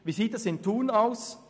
Wie sieht es in Thun aus?